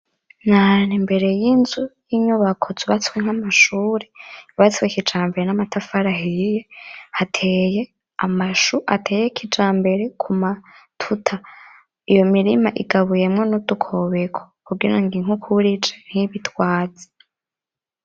Nahantu imbere yinzu yinyubako zubatswe nkamashuri yubatswe kijambere namatafari ahiye hateye amashu ateye kijambere kumatuta iyo mirima igabuyemwo nudukobeko kugirango inkukura ije ntibitwaze